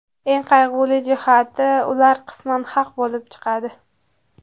Eng qayg‘uli jihati, ular qisman haq bo‘lib chiqadi.